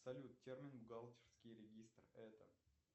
салют термин бухгалтерский регистр это